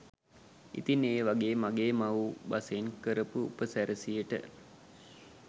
ඉතිං ඒ වගේ මගේ මව්බසෙන් කරාපු උපසි‍රැසියකට